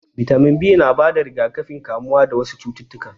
Bitamin B na bada rigakafin kamuwa dawasu cutukan